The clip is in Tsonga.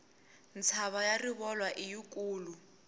mtshava ya rivolwa i yi kulu